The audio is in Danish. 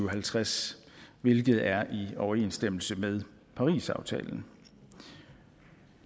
og halvtreds hvilket er i overensstemmelse med parisaftalen